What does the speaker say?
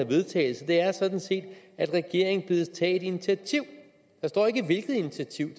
vedtagelse er sådan set at regeringen bedes tage et initiativ der står ikke hvilket initiativ